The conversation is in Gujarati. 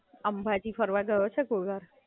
અંબાજી ફરવા ગયો છે કોઈ વાર?